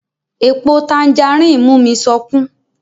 Èpo tanjarín mú mi sọkún